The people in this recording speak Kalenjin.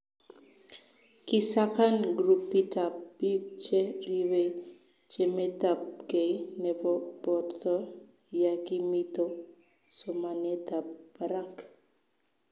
kisakan grupitab biik che ribei chametabgei nebo borto ya kimito somanetab barak.